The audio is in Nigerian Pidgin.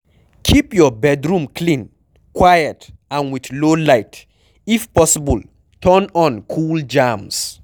Keep your bedroom clean, quiet and with low light, if possible turn on cool jams